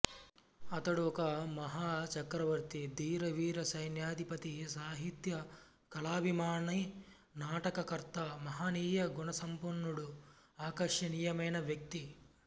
అతడు ఒక మహా చక్రవర్తి ధీర వీర సైన్యధిపతి సహిత్య కాలాభిమాని నాటక కర్త మహనీయ గుణసంపన్నుడు ఆకర్షనీయమైన వ్యక్తి